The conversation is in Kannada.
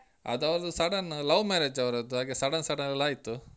ಅದ್ ಅವ್ರ್ದು sudden love marriage ಅವ್ರದ್ದು ಹಾಗೆ sudden sudden ಅಲ್ಲಾಯ್ತು.